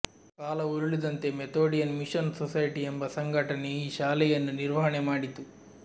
ಕಾಲ ಉರುಳಿದಂತೆ Methodian mission society ಎಂಬ ಸಂಘಟನೆ ಈ ಶಾಲೆಯನ್ನು ನಿರ್ವಹಣೆ ಮಾಡಿತು